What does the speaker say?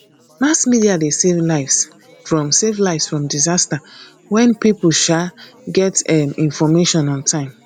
mass media de save lives from save lives from disaster when pipo um get um information on time